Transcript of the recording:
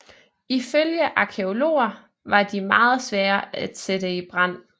Ifølge arkæologer var de meget svære at sætte i brand